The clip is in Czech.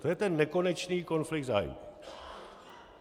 To je ten nekonečný konflikt zájmů.